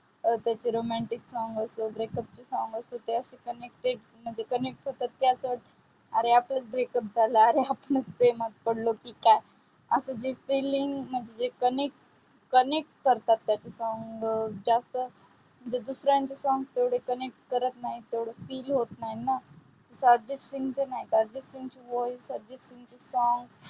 करतात त्याचे song अं ज्यास्त ते different different तेवढे connect होत नाही. feel होत नाही ना, अर्जित सिंग नाही voice अर्जित सिंग चे song